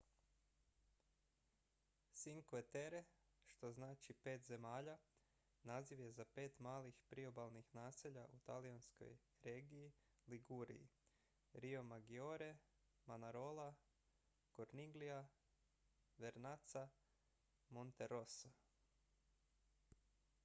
"cinque terre što znači "pet zemalja" naziv je za pet malih priobalnih naselja u talijanskoj regiji liguriji: riomaggiore manarola corniglia vernazza i monterosso.